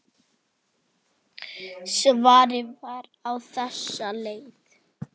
Svarið var á þessa leið